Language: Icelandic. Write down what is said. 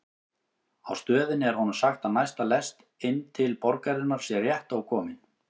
Á stöðinni er honum sagt að næsta lest inn til borgarinnar sé rétt ókomin.